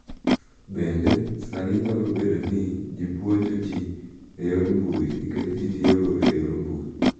Bende, sani nyalo bedo ni ji puonjo ji e yor mbui nikech ji tiyogo e yor mbui.